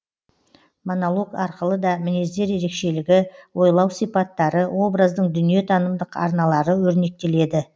монолог арқылы да мінездер ерекшелігі ойлау сипаттары образдың дүниетанымдық арналары өрнектеледі